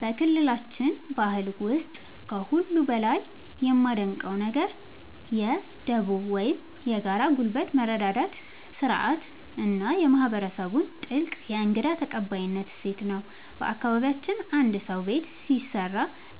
በክልላችን ባህል ውስጥ ከሁሉ በላይ የማደንቀው ነገር የ"ዱቦ" (Dubo) ወይም የጋራ ጉልበት መረዳዳት ሥርዓት እና የማህበረሰቡን ጥልቅ የእንግዳ ተቀባይነት እሴት ነው። በአካባቢያችን አንድ ሰው ቤት ሲሰራ፣